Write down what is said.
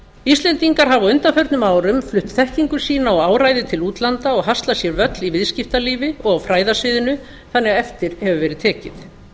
íslendingar hafa á undanförnum árum flutt þekkingu sína og áræði til útlanda og haslað sér völl í viðskiptalífi og á fræðasviðinu þannig að eftir hefur verið tekið